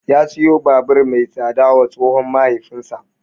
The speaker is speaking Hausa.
Ya siyo babur mai tsada wa tsohon mahaifinsa.